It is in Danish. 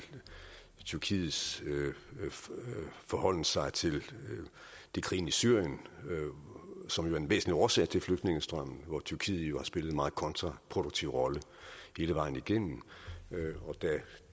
tyrkiets forholden sig til krigen i syrien som jo er en væsentlig årsag til flygtningestrømmen hvor tyrkiet har spillet en meget kontraproduktiv rolle hele vejen igennem da